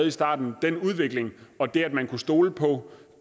i starten den udvikling og det at man kunne stole på